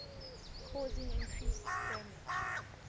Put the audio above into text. causing increased damage